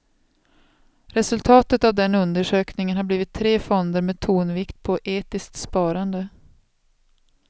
Resultatet av den undersökningen har blivit tre fonder med tonvikt på etiskt sparande.